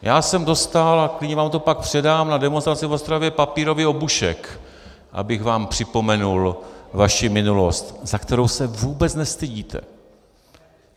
Já jsem dostal - a klidně vám to pak předám - na demonstraci v Ostravě papírový obušek, abych vám připomenul vaši minulosti, za kterou se vůbec nestydíte.